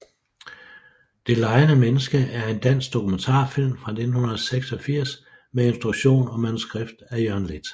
Det legende menneske er en dansk dokumentarfilm fra 1986 med instruktion og manuskript af Jørgen Leth